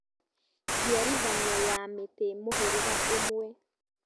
Njiarithanio ya mĩtĩ mũhĩrĩga ũmwe